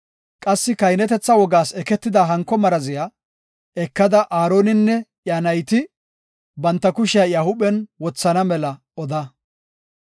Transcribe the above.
“Qassi kahinetetha wogas eketida hanko maraziya ekada Aaroninne iya nayti banta kushiya iya huuphen wothana mela oda.